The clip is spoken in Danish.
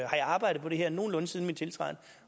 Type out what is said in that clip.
arbejdet på det her nogenlunde siden min tiltræden